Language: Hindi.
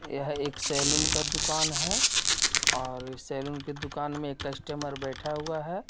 यह एक सेलून का दूकान है और सेलून के दूकान में एक कस्टमर बैठा हुआ है.